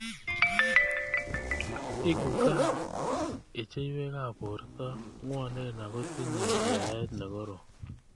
Eku ka?ichiywek ab borto ng'wanen ako tinye yaet nekorom.